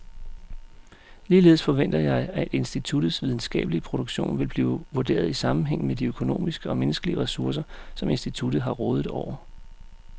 Ligeledes forventer jeg, at instituttets videnskabelige produktion vil blive vurderet i sammenhæng med de økonomiske og menneskelige ressourcer, som instituttet har rådet over.